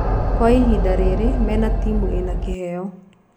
Kwa ihinda rĩrĩ mena timũ ĩna kĩheo.